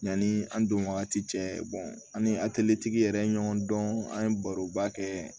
Yanni an don wagati cɛ an ni yɛrɛ ye ɲɔgɔn dɔn an ye baroba kɛ